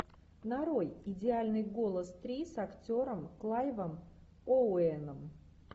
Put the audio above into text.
нарой идеальный голос три с актером клайвом оуэном